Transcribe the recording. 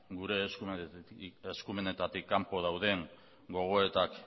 gure eskumenetatik kanpo dauden gogoetak